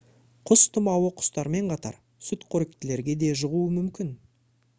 құс тұмауы құстармен қатар сүтқоректілерге де жұғуы мүмкін